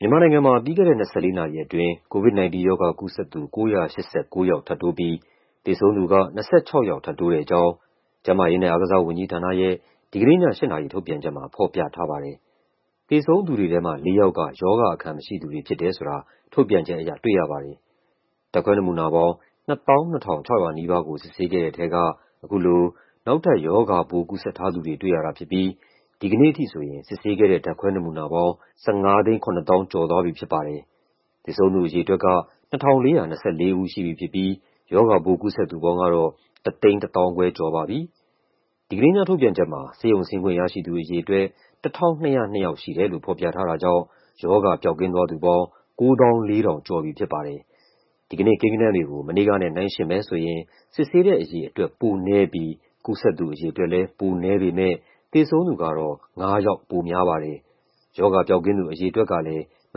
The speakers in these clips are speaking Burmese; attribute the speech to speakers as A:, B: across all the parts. A: မြန်မာနိုင်ငံမှာ ပြီးခဲ့တဲ့ ၂၄ နာရီအတွင်း COVID-19 ရောဂါကူးစက်သူ ၉၈၉ ယောက် ထပ်တိုးပြီး သေဆုံးသူက ၂၆ ယောက် ထပ်တိုးတဲ့အကြောင်း ကျန်းမာရေးနဲ့ အားကစားဝန်ကြီးဌာနရဲ့ ဒီကနေ့ည ၈ နာရီ ထုတ်ပြန်ချက်မှာ ဖော်ပြထားပါတယ်။ သေဆုံးသူတွေထဲမှာ ၄ ယောက်က ရောဂါအခံမရှိသူတွေ ဖြစ်တယ်ဆိုတာ ထုတ်ပြန်ချက်အရ တွေ့ရပါတယ်။ ဓာတ်ခွဲနမူနာပေါင်း ၂၂,၅၉၀ ခုကို စစ်ဆေးခဲ့တဲ့ထဲက အခုလို နောက်ထပ် ရောဂါပိုး ကူးစက်ထားသူတွေ တွေ့ရတာဖြစ်ပြီး ဒီကနေ့အထိဆိုရင် စစ်ဆေးခဲ့တဲ့ ဓာတ်ခွဲနမူနာပေါင်း ၁,၅၇၄,၁၂၈ ခု ရှိသွားပြီဖြစ်ပါတယ်။ သေဆုံးသူအရေအတွက်က ၂,၄၂၄ ဦး ရှိပြီဖြစ်ပြီး ရောဂါပိုး ကူးစက်သူပေါင်းကတော့ ၁၁၅,၁၈၇ ဦး ရှိသွားပါပြီ။ ဒီကနေ့ည ထုတ်ပြန်ချက်မှာ ဆေးရုံဆင်းခွင့်ရရှိသူ အရေအတွက် ၁,၂၀၂ ယောက်ရှိတယ်လို့ ဖော်ပြထားတာကြောင့် ရောဂါပျောက်ကင်းသွားသူပေါင်း ၉၄,၁၁၈ ယောက် ရှိသွားပြီဖြစ်ပါတယ်။ ဒီကနေ့ကိန်းဂဏန်းတွေကို မနေ့ကနဲ့ နှိုင်းယှဉ်မယ်ဆိုရင် စစ်ဆေးတဲ့အရေအတွက် ပိုနည်းပြီး ကူးစက်သူအရေအတွက်လည်း ပိုနည်းပေမယ့် သေဆုံးသူကတော့ ၅ ယောက် ပိုများပါတယ်။ ရောဂါပျောက်ကင်းသူ အရေအတွက်ကလည်း မ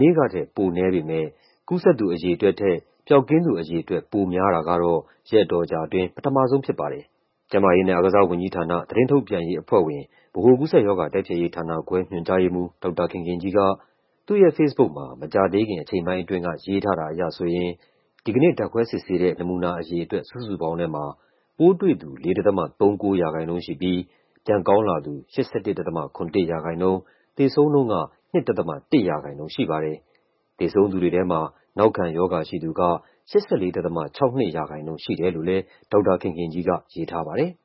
A: နေ့ကထက် ပိုနည်းပေမယ့် ကူးစက်သူ အရေအတွက်ထက် ပျောက်ကင်းသူ အရေအတွက်က ပိုများတာကတော့ ရက်အတော်ကြာအတွင်း ပထမဆုံးဖြစ်ပါတယ်။ ကျန်းမာရေးနဲ့ အားကစားဝန်ကြီးဌာန၊ သတင်းထုတ်ပြန်ရေးအဖွဲ့ဝင်၊ ဗဟိုကူးစက်ရောဂါ တိုက်ဖျက်ရေးဌာနခွဲ ညွှန်ကြားရေးမှူး ဒေါက်တာခင်ခင်ကြီးက သူ့ရဲ့ဖေ့စ်ဘုတ်မှာ မကြာသေးခင် အချိန်ပိုင်းအတွင်းက ရေးထားတာအရဆိုရင် ဒီကနေ့ ဓာတ်ခွဲစစ်ဆေးတဲ့ နမူနာအရေအတွက် စုစုပေါင်းထဲမှာ ပိုးတွေ့သူ ၄.၃၉ ရာခိုင်နှုန်းရှိပြီး ပြန်ကောင်းလာသူ ၈၁.၇၁ ရာခိုင်နှုန်း၊ သေဆုံးနှုန်းက ၂.၁ ရာခိုင်နှုန်း ရှိပါတယ်။ သေဆုံးသူတွေထဲမှာ နောက်ခံရောဂါရှိသူက ၈၄.၆၂ ရာခိုင်နှုန်း ရှိတယ်လို့လည်း ဒေါက်တာခင်ခင်ကြီးက ရေးထားပါတယ်။